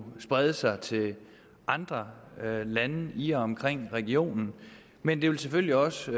sprede sig til andre lande i og omkring regionen men det vil selvfølgelig også